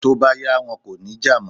Tó bá yá, wọn kò ní jà mọ́.